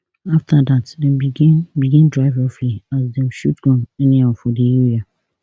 afta dat dem begin begin drive roughly as dem shoot gun anyhow for di area